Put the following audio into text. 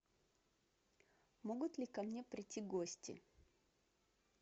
могут ли ко мне придти гости